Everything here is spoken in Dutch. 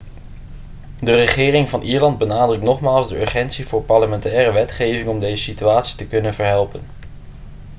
de regering van ierland benadrukt nogmaals de urgentie voor parlementaire wetgeving om deze situatie te kunnen verhelpen